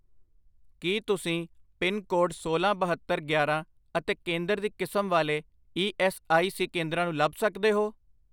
ਕੀ ਤੁਸੀਂ pin code ਸੋਲਾਂ, ਬਹੱਤਰ, ਗਿਆਰਾਂ ਅਤੇ ਕੇਂਦਰ ਦੀ ਕਿਸਮ ਵਾਲੇ ਈ ਐੱਸ ਆਈ ਸੀ ਕੇਂਦਰਾਂ ਨੂੰ ਲੱਭ ਸਕਦੇ ਹੋ?